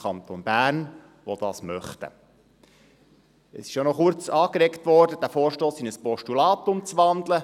Es wurde auch noch kurz angeregt, diesen Vorstoss in ein Postulat umzuwandeln.